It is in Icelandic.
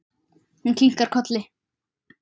Hún kinkar kolli.